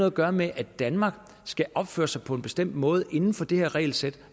at gøre med at danmark skal opføre sig på en bestemt måde inden for det her regelsæt